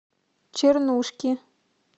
чернушки